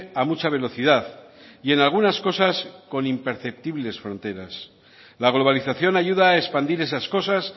a mucha velocidad y en algunas cosas con imperceptibles fronteras la globalización ayuda a expandir esas cosas